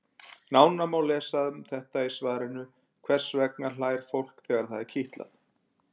Nánar má lesa um þetta í svarinu Hvers vegna hlær fólk þegar það er kitlað?